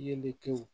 Yelenkɛw